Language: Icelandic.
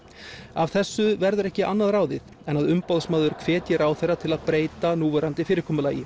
af þessu verður ekki annað ráðið en að Umboðsmaður hvetji ráðherra til að breyta núverandi fyrirkomulagi